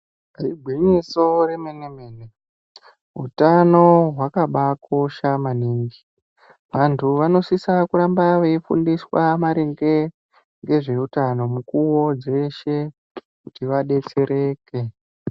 Igwinyiso remene remene utano hwakabaakosha maningi. Vantu vanosise kuramba veifundiswa maringe ngezveutano mukuwo dzeshe kuti vadetsereke.